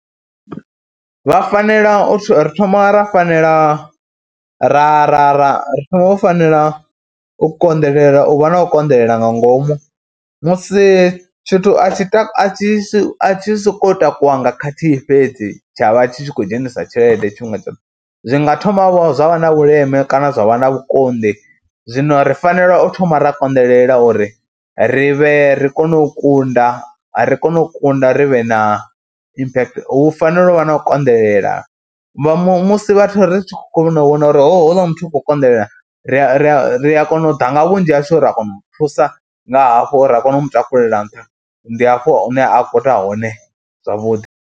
Vha fanela u ri thoma ra fanela ra ra ra ri thoma u fanela u konḓelela, u vha na u konḓelela nga ngomu musi tshithu a tshi a tshi a tshi sokou takuwa nga khathihi fhedzi tsha vha tshi khou dzhenisa tshelede tshifhinga tshoṱhe. Zwi nga thomavho zwa vha na vhuleme kana zwa vha na vhukonḓi, zwino ri fanela u thoma ra konḓelela uri ri vhe ri kone u kunda, ri kone u kunda ri vhe na impact, hu fanela u vha na u konḓelela, vha musi vhathu vha ri khou kona u vhona uri houḽa muthu u khou konḓelela ri a ri a kona u ḓa nga vhunzhi hashu ra kona u mu thusa nga hafho ra kona u mu takulela nṱha, ndi hafho hune a kona hone zwavhuḓi.